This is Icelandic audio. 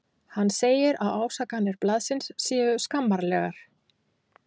Hann segir að ásakanir blaðsins séu skammarlegar.